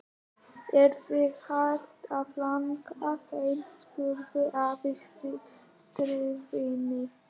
Er þig hætt að langa heim? spurði afi stríðinn.